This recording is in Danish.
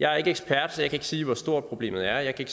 jeg er ikke ekspert så jeg kan ikke sige hvor stort problemet er jeg kan